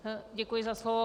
Děkuji za slovo.